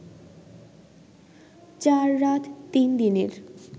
৪ রাত ৩ দিনের